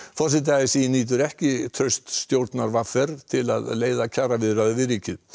forseti a s í nýtur ekki trausts stjórnar v r til að leiða kjaraviðræður við ríkið